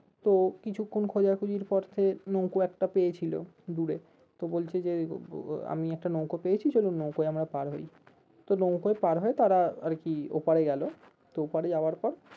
তো কিছুক্ষন খোঁজাখুঁজির পরে নৌকো একটা পেয়েছিল দূরে তো বলছে যে আহ আমি একটা নৌকো পেয়েছি চলো নৌকোয় আমরা পার হয় তো নৌকোয় পার হয় তারা আরকি ওপারে গেলো তো ওপারে যাওয়ার পর